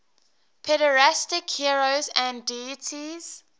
pederastic heroes and deities